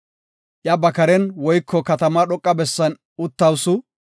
Iya ba karen woyko katamaa dhoqa bessan uttawusu.